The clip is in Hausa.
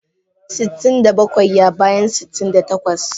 Sitin da bakwai ya bayan sitin da takwas.